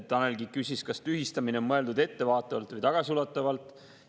Tanel küsis, kas tühistamine on mõeldud ettevaatavalt või tagasiulatuvalt.